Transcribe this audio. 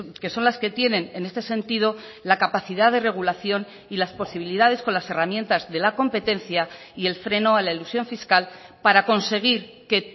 que son las que tienen en este sentido la capacidad de regulación y las posibilidades con las herramientas de la competencia y el freno a la elusión fiscal para conseguir que